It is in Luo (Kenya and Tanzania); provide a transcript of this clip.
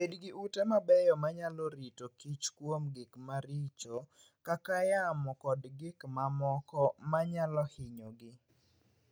Bed gi ute mabeyo manyalo rito kich kuom gik maricho kaka yamo kod gik mamoko manyalo hinyogi.